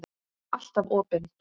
Alltaf opin.